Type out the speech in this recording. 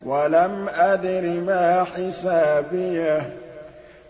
وَلَمْ أَدْرِ مَا حِسَابِيَهْ